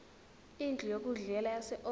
indlu yokudlela yaseold